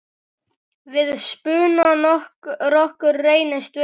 Við spuna rokkur reynist vel.